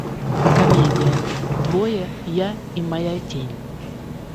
комедия двое я и моя тень